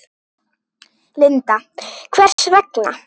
Linda: Hvers vegna?